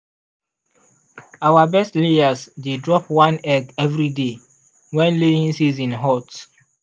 our best layers dey drop one egg every day when laying season hot.